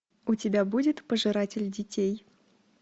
у тебя будет пожиратель детей